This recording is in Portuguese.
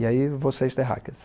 E aí você é esterráqueas